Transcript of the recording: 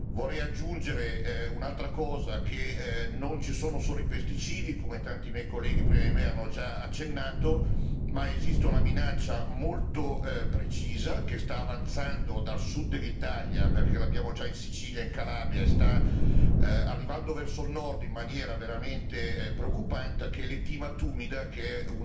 Vorrei aggiungere un'altra cosa che non ci sono solo i pesticidi come tanti miei colleghi prima di me hanno già accennato ma esiste una minaccia molto precisa che sta avanzando dal Sud dell'Italia, perché l'abbiamo già in Sicilia, in Calabria e sta arrivando verso Nord in maniera veramente preoccupante, ed è l'Aethina tumida, che è